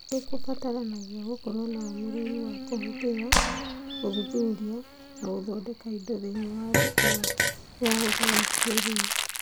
Nĩ kũbataranagia gũkorũo na ũmĩrĩru wa kũhũthĩra, gũthuthuria, na gũthondeka indo thĩinĩ wa thĩ ĩno ya ũũgĩ wa kĩĩrĩu